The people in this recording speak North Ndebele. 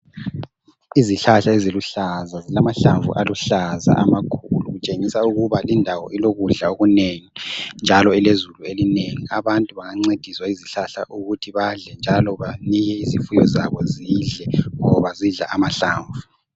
Izihlahla eziluhlaza, zilamahlamvu aluhlaza amakhulu kutshengia ukuba lindawo ilokudla okunengi njalo ilezulu elinengi. Abantu bengancediswa yizihlahla ukuthi badle njalo banike izifuyo zabo zidle, ngoba zidla amahlamvu.